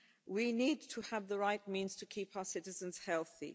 We need to have the right means to keep our citizens healthy.